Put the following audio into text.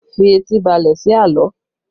Fi etí balẹ̀ sí àlọ́!